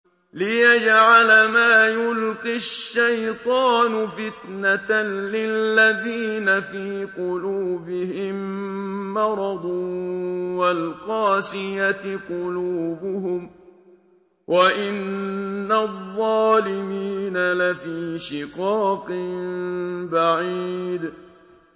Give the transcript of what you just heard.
لِّيَجْعَلَ مَا يُلْقِي الشَّيْطَانُ فِتْنَةً لِّلَّذِينَ فِي قُلُوبِهِم مَّرَضٌ وَالْقَاسِيَةِ قُلُوبُهُمْ ۗ وَإِنَّ الظَّالِمِينَ لَفِي شِقَاقٍ بَعِيدٍ